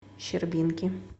щербинки